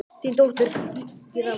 Þín dóttir, Gyða María.